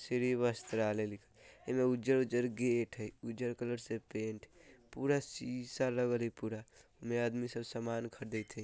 श्री वस्त्रालय लिखल इमे उज्जर-उज्जर गेट हय उज्जर कलर से पेंट पूरा शीशा लगल हय पूरा उन्ने आदमी सब सामान ख़रीदएत हय।